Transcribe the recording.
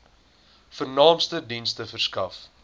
vernaamste dienste verskaf